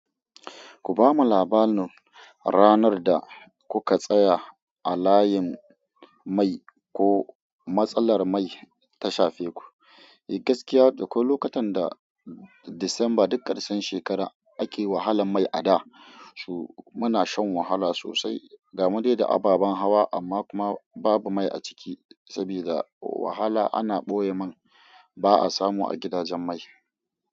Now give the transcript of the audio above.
Ku ba mu labarin ranar da kuka tsaya a layin mai ko matsalar mai ta shafe ku. Gaskiya ko lokacin da Disamba duk karshen shekara ake wahalan mai a da, muna shan wahala sosai. Gamu daidai ababan hawa amma kuma babu mai a ciki saboda wahala ana ɓoye man ba a samu a gidajen mai.